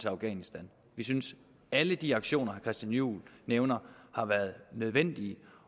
afghanistan vi synes at alle de aktioner christian juhl nævner har været nødvendige